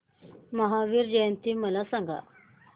महावीर जयंती मला सांगा